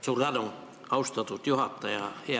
Suur tänu, austatud juhataja!